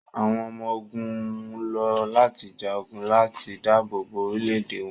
àwọn ọmọ-ogun lọ lati ja ogun lati daabobo orilẹ-ede wọn